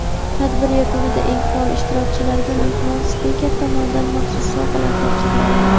Tadbir yakunida eng faol ishtirokchilarga mehmon spiker tomonidan maxsus sovg‘alar topshiriladi.